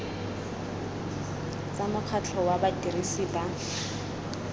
tsa mokgatlho wa badirisi ba